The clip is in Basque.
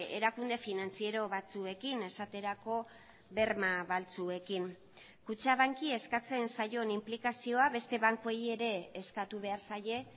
erakunde finantziero batzuekin esaterako berma baltzuekin kutxabanki eskatzen zaion inplikazioa beste bankuei ere eskatu behar zaie